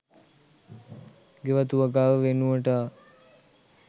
ගෙවතු වගාව වෙනුවට අ